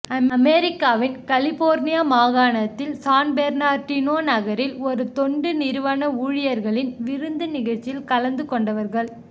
அமெரிக்காவின் கலிபோர்னியா மாகாணத்தின் சான்பெர்னார்டினோ நகரில் ஒரு தொண்டு நிறுவன ஊழியர்களின் விருந்து நிகழ்ச்சியில் கலந்து கொண்டவர்கள்